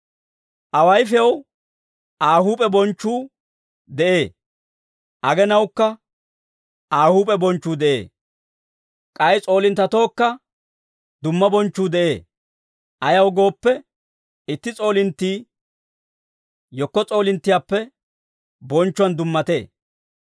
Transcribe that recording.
Awayfiyaw Aa huup'e bonchchuu de'ee. Agenawukka Aa huup'e bonchchuu de'ee. K'ay s'oolinttatookka dumma bonchchuu de'ee; ayaw gooppe, itti s'oolinttii yekko s'oolinttiyaappe bonchchuwaan dummatee.